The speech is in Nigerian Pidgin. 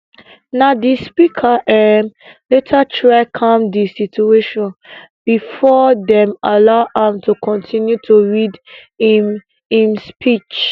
na di speaker um later try calm di situation um bifor dem allow am to continue to read im im speech